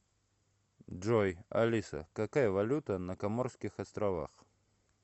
джой алиса какая валюта на коморских островах